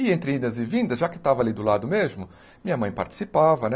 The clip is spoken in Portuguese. E entre idas e vindas, já que estava ali do lado mesmo, minha mãe participava, né?